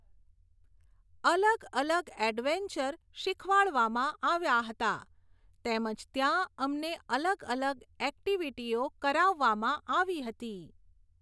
અલગ અલગ ઍડવેન્ચર શીખવાડવામાં આવ્યાં હતાં તેમ જ ત્યાં અમને અલગ અલગ ઍક્ટિવિટીઓ કરાવવામાં આવી હતી.